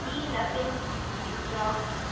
Díana fyndna.